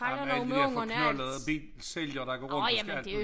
Ej men alle de dér forknoldede bilsælgere der går rundt og skal alt mulig